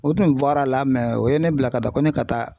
O tun bɔra a la o ye ne bila ka taa ko ne ka taa.